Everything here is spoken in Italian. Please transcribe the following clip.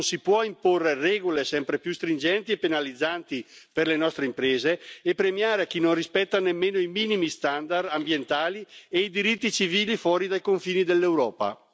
Non si possono imporre regole sempre più stringenti e penalizzanti per le nostre imprese e premiare chi non rispetta nemmeno i minimi standard ambientali e i diritti civili fuori dai confini dell'Europa.